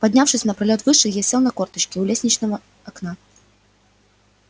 поднявшись на пролёт выше я сел на корточки у лестничного окна